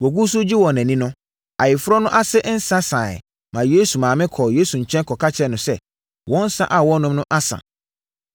Wɔgu so regye wɔn ani no, ayeforɔ no ase nsã saeɛ maa Yesu maame kɔɔ Yesu nkyɛn kɔka kyerɛɛ no sɛ, “Wɔn nsã a wɔrenom no asa.”